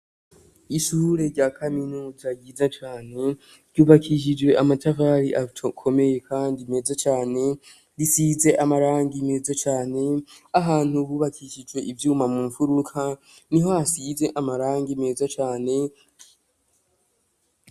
Ishure rya kaminuza ryiza cane ryubakishijwe amatafari akomeye kandi meza cane risize amarangi meza cane ahantu hubakishijwe ivyuma mu mfuruka niho hasize amarangi meza cane.